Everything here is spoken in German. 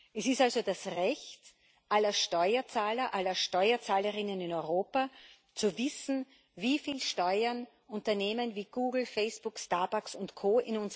Es ist also das Recht aller Steuerzahler, aller Steuerzahlerinnen in Europa, zu wissen, wie viel Steuern Unternehmen wie Google, Facebook, Starbucks und